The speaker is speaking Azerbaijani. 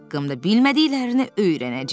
Haqqımda bilmədiklərini öyrənəcək.